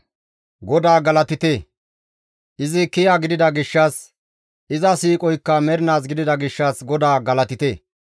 GODAA galatite! Izi kiya gidida gishshas, iza siiqoykka mernaas gidida gishshas GODAA galatite.